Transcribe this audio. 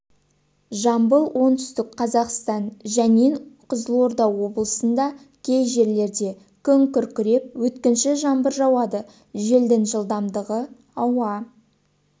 жамбыл оңтүстік қазақстан жәнен қызылорда облысында кей жерлерде күн күркіреп өткінші жаңбыр жауады желдің жылдамдығы ауа